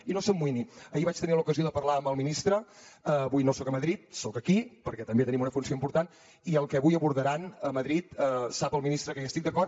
i no s’amoïni ahir vaig tenir l’ocasió de parlar amb el ministre avui no soc a madrid soc aquí perquè també tenim una funció important i el que avui abordaran a madrid sap el ministre que hi estic d’acord